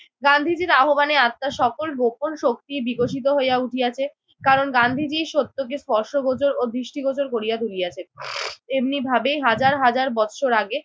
গান্ধীজির আহ্বানে আত্মার সকল গোপন শক্তি বিকশিত হইয়া উঠিয়াছে। কারণ গান্ধীজি সত্যকে স্পষ্টগোচর ও দৃষ্টিগোচর করিয়া তুলিয়াছেন। এমনিভাবে হাজার হাজার বৎসর আগে